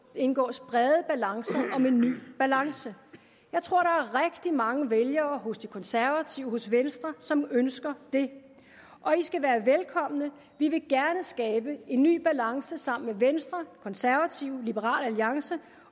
indgås brede alliancer om en ny balance jeg tror at mange vælgere hos de konservative og hos venstre som ønsker det og de skal være velkomne vi vil gerne skabe en ny balance sammen med venstre konservative liberal alliance